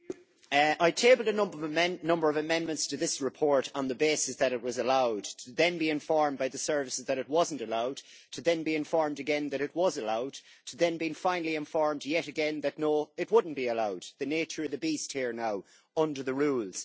Madam President, I tabled a number of amendments to this report on the basis that it was allowed, to then be informed by the services that it was not allowed, to then be informed again that it was allowed, to then being finally informed yet again that no, it would not be allowed, the nature of the beast here now, under the rules.